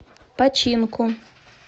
починку